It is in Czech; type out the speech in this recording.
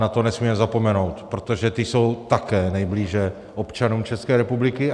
Na to nesmíme zapomenout, protože ty jsou také nejblíže občanům České republiky.